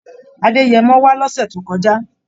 Adẹ́yẹmọ wá lọ́sè tó kọjá